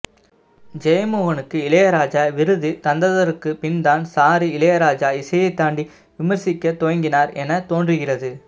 ஜெயமோகனுக்கு இளையராஜா விருது தந்தற்க்கு பின்தான் சாரு இளையராஜா இசையை தாண்டி விமர்சிக்க துவங்கினார் என தோன்றுகிறது